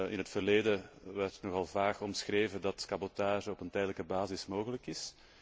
In het verleden werd nogal vaag omschreven dat cabotage op een tijdelijke basis mogelijk is.